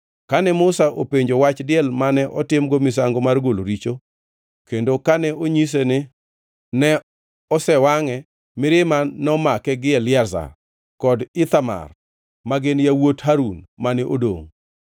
Kane Musa openjo wach diel mane otimgo misango mar golo richo, kendo kane onyise ni ne osewangʼe, mirima nomake gi Eliazar kod Ithamar magin yawuot Harun mane odongʼ.